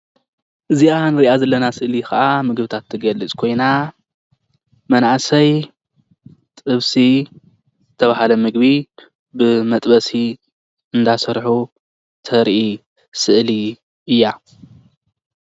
እዚኣ ንሪኣ ዘለና ስእሊ ከኣ ምግብታት ትገልጽ ኮይና መናእሰይ ጥብሲ ዝተባህለ ምግቢ ብመጥበሲ እንዳሰርሑ ተርኢ ስእሊ እያ።